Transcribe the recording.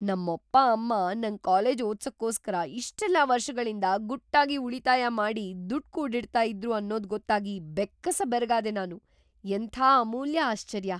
ನಮ್ಮಪ್ಪ ಅಮ್ಮ ನಂಗ್‌ ಕಾಲೇಜ್‌ ಓದ್ಸೋಕೋಸ್ಕರ ಇಷ್ಟೆಲ್ಲ ವರ್ಷ್‌ಗಳಿಂದ ಗುಟ್ಟಾಗಿ ಉಳಿತಾಯ ಮಾಡಿ ದುಡ್ಡ್‌ ಕೂಡಿಡ್ತಾ ಇದ್ರು ಅನ್ನೋದ್‌ ಗೊತ್ತಾಗಿ ಬೆಕ್ಕಸ ಬೆರಗಾದೆ ನಾನು. ಎಂಥ ಅಮೂಲ್ಯ ಆಶ್ಚರ್ಯ!